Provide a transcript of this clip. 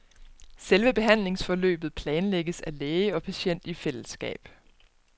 Selve behandlingsforløbet planlægges af læge og patient i fællesskab.